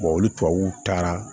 olu tubabuw taara